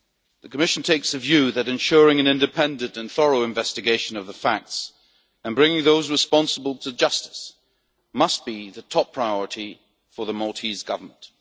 The Commission takes the view that ensuring an independent and thorough investigation of the facts and bringing those responsible to justice must be the top priority for the Maltese Government.